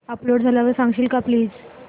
upload झाल्यावर सांगशील का प्लीज